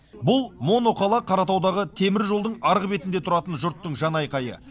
бұл моноқала қаратаудағы теміржолдың арғы бетінде тұратын жұрттың жан айқайы